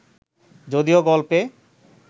যদিও গল্পে